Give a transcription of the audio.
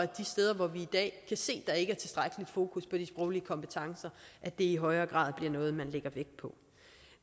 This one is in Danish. de steder hvor vi i dag kan se der ikke er tilstrækkeligt fokus på de sproglige kompetencer i højere grad bliver noget som man lægger vægt på